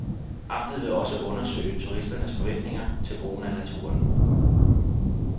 Amtet vil også undersøge turisternes forventninger til brugen af naturen.